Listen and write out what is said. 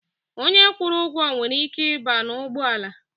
Onye kwụrụ ụgwọ nwere ike ịba n'ugbọala.